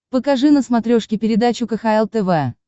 покажи на смотрешке передачу кхл тв